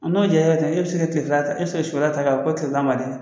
N'o diya kɛ e bɛ se ka tilefɛla e bɛ se ka sufɛla ta ko tilefɛla man di